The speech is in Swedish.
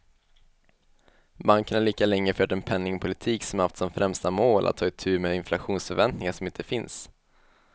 Banken har lika länge fört en penningpolitik som haft som främsta mål att ta itu med inflationsförväntningar som inte finns.